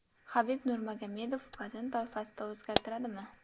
Habib Nurmagomedov vazn toifasini o‘zgartiradimi?